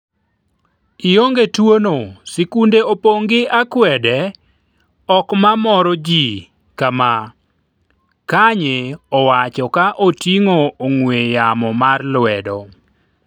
ionge tuo'no sikunde opong' gi akwede, ok ma moro ji ka ma, Kanye owacho ka oting'o ong'we yamo mar lwedo